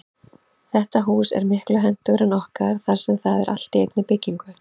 Þetta hús er miklu hentugra en okkar þar sem það er allt í einni byggingu.